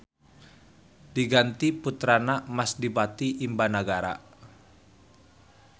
Diganti puterana Mas Dipati Imbanagara.